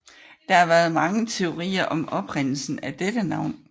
Der har været mange teorier om oprindelsen til dette navn